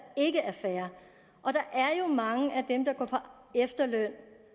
ikke er fair og der er jo mange af dem der går på efterløn